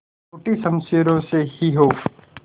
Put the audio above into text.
टूटी शमशीरों से ही हो